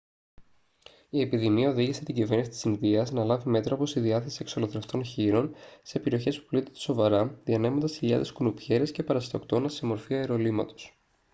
η επιδημία οδήγησε την κυβέρνηση της ινδίας να λάβει μέτρα όπως η διάθεση εξολοθρευτών χοίρων σε περιοχές που πλήττονται σοβαρά διανέμοντας χιλιάδες κουνουπιέρες και παρασιτοκτόνα σε μορφή αερολύματος